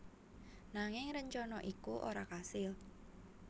Nanging rencana iku ora kasil